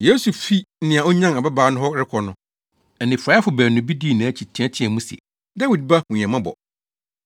Yesu fi nea onyan ababaa no hɔ rekɔ no, anifuraefo baanu bi dii nʼakyi teɛteɛɛ mu se, “Dawid ba, hu yɛn mmɔbɔ!”